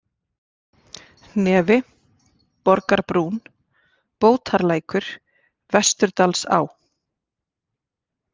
Hnefi, Borgarbrún, Bótarlækur, Vesturdalsá